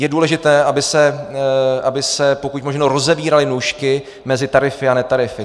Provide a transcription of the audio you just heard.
Je důležité, aby se pokud možno rozevíraly nůžky mezi tarify a netarify.